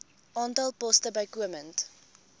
aantal poste bykomend